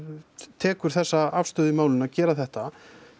tekur þessa afstöðu í málinu að gera þetta